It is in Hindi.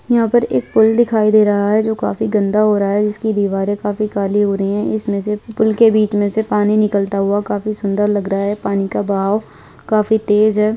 यहाँ पर एक पुल दिखाई दे रहा है जो काफी गंदा हो रहा है जिसकी दीवारें काफी काली हो रही है इसमें से पुल के बीच में से पानी निकलता हुआ काफी सुदंर लग रहा है पानी का बहाव काफी तेज है।